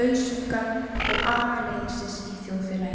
lausungar og agaleysis í þjóðfélaginu.